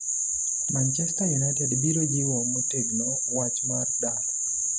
Manchester United biro jiwo motegno wach mar dar